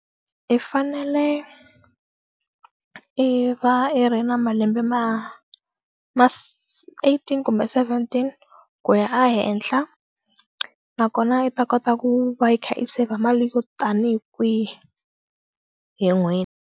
I fanele i va i ri na malembe ma ma eighteen kumbe seventeen ku ya a henhla nakona i ta kota ku va i kha i save mali yo tanihi kwihi hi n'hweti.